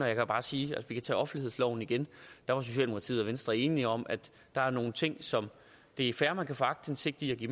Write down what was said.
jeg vil bare sige hvis vi tager offentlighedsloven igen at der var socialdemokratiet og venstre enige om at der var nogle ting som det er fair at man kan få aktindsigt i